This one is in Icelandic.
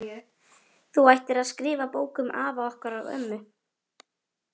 Þú ættir að skrifa bók um afa okkar og ömmu.